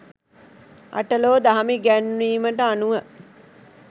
අටලෝ දහම ඉගැන්වීමට අනුව